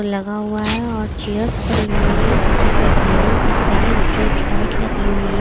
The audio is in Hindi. लगा हुआ है और चेयर्स पड़ी हुई है पीछे साइड बिल्डिंग्स दिख रही है स्ट्रीट लाइट लगी हुई है।